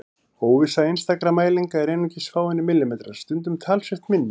Óvissa einstakra mælinga er einungis fáeinir millimetrar, stundum talsvert minni.